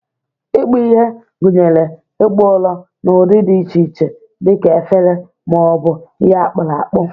Ikpu ihe gụnyere ịkpụ ụrọ n'ụdị dị iche iche dị ka efere ma ọ bụ ihe akpuru akpu.